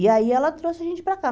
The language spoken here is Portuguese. E aí ela trouxe a gente para cá.